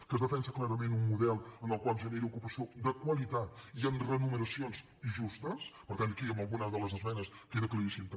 que es defensa clarament un model que genera ocupació de qualitat i amb remuneracions justes per tant aquí en alguna de les esmenes queda claríssim també